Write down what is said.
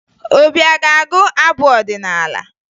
Obi a ga-agụ abụ ọdịnaala?